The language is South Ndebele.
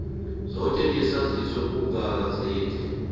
zoke ngesaziso kugazethe